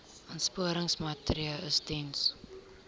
aansporingsmaatre ls diens